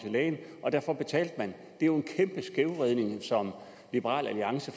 til lægen og derfor betalte man det er jo en kæmpe skævvridning som liberal alliance